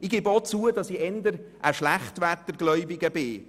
Ich gebe auch zu, dass ich eher ein «SchlechtwetterGläubiger» bin.